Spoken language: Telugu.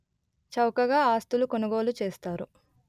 చౌకగా ఆస్తులు కొనుగోలు చేస్తారు